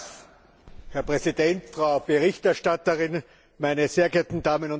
Herr Präsident, Frau Berichterstatterin, meine sehr geehrten Damen und Herren!